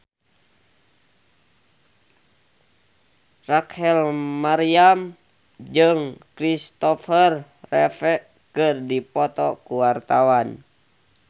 Rachel Maryam jeung Kristopher Reeve keur dipoto ku wartawan